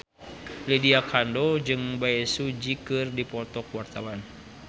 Lydia Kandou jeung Bae Su Ji keur dipoto ku wartawan